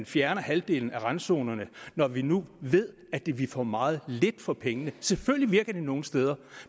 fjerne halvdelen af randzonerne når vi nu ved at vi ville få meget lidt for pengene selvfølgelig virker det nogle steder